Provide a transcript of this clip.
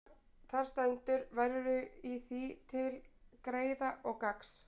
Þar stendur: Værirðu í því til greiða og gagns,